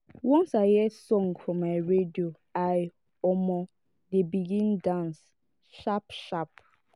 once i hear song for my radio i um dey begin dance sharp-sharp.